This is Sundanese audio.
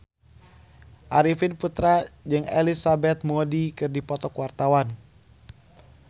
Arifin Putra jeung Elizabeth Moody keur dipoto ku wartawan